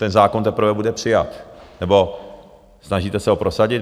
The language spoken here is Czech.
Ten zákon teprve bude přijat, nebo snažíte se ho prosadit.